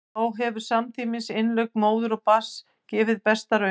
þá hefur samtímis innlögn móður og barns gefið besta raun